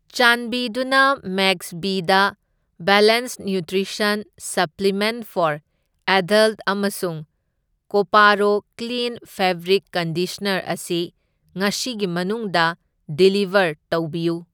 ꯆꯥꯟꯕꯤꯗꯨꯅ ꯃꯦꯛꯁꯕꯤꯗꯥ balanced nutrition supplement for adult ꯑꯃꯁꯨꯡ ꯀꯣꯄꯥꯔꯣ ꯀ꯭ꯂꯤꯟ ꯐꯦꯕ꯭ꯔꯤꯛ ꯀꯟꯗꯤꯁꯅꯔ ꯑꯁꯤ ꯉꯁꯤꯒꯤ ꯃꯅꯨꯡꯗ ꯗꯤꯂꯤꯕꯔ ꯇꯧꯕꯤꯌꯨ꯫